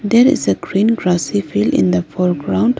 There is a green grassy field in the foreground.